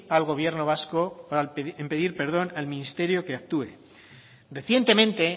al ministerio que actúe recientemente